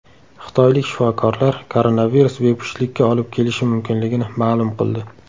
Xitoylik shifokorlar koronavirus bepushtlikka olib kelishi mumkinligini ma’lum qildi.